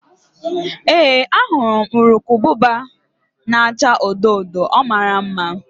Ee, ahụrụ m urukurubụba na-acha odo odo, ọ mara mma